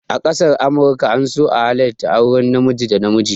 A ƙasar amurka an so a halarta auren namiji da namiji